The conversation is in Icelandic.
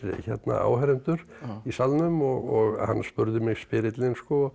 áheyrendur í salnum og hann spurði mig spyrillinn